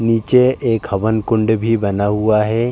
निचे एक हवनकुंड भी बना हुआ है।